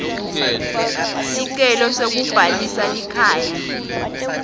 sicelo sekubhalisa likhaya